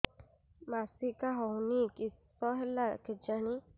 ମାସିକା ହଉନି କିଶ ହେଲା କେଜାଣି